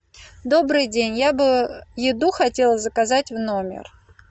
добрый день я бы еду хотела заказать в номер